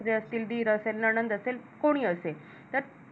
असेल दीर असेल नणंद असेल कोणी असेल तर ते